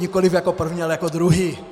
Nikoliv jako první, ale jako druhý.